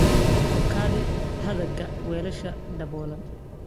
Ku kaydi hadhaaga weelasha daboolan.